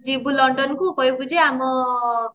ଯିବୁ ଲଣ୍ଡନ କୁ କହିବୁ ଯେ ଆମ